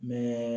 N bɛ